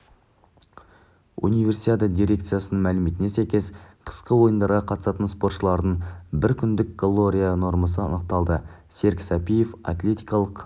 универсиада дирекцияның мәліметіне сәйкес қысқы ойындарға қатысатын спортшылардың бір күндік калория нормасы анықталды серік сәпиев атлетикалық